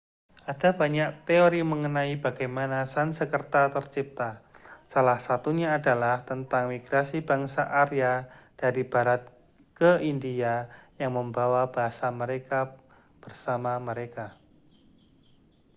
ada banyak teori mengenai bagaimana sansekerta tercipta salah satunya adalah tentang migrasi bangsa arya dari barat ke india yang membawa bahasa mereka bersama mereka